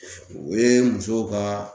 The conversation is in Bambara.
O ye musow ka